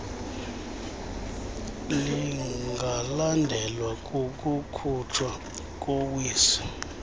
lingalandelwa kukukhutshwa kowiso